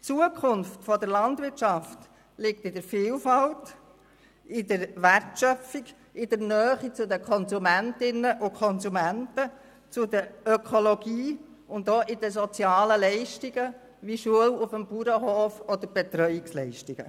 Die Zukunft der Landwirtschaft liegt in der Vielfalt, in der Wertschöpfung, in der Nähe zu den Konsumentinnen und Konsumenten, zur Ökologie und auch zu den sozialen Leistungen wie Schule auf dem Bauernhof oder Betreuungsleistungen.